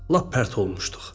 Lap pərt olmuşduq.